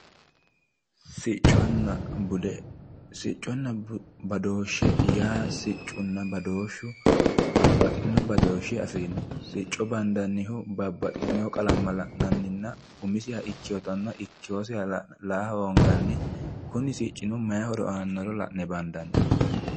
Sicconna bude sicconna badooshshe yaa babaxinno badooshshe afirinno sicco badannihu babaxitinno qalama gannaninna umisiha ikkinotta la'nanni kuni siccino mayi horo aanoro bandanni.